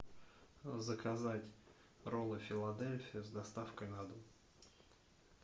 заказать роллы филадельфия с доставкой на дом